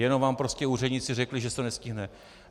Jenom vám prostě úředníci řekli, že se to nestihne.